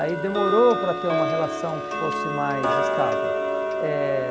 Aí demorou para ter uma relação que fosse mais estável. Eh